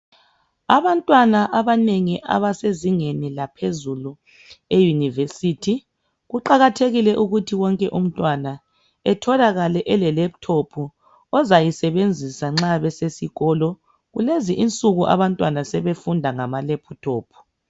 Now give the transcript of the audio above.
Abantwana abanengi abasezingeni eliphezulu iUniversity kuqakathekile ukuthi wonke umntwana utholakale eleLaptop azayisebenzisa nxa esesikolo kulezi insuku abantwana sebefunda ngama Laptop